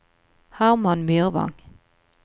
Herman Myrvang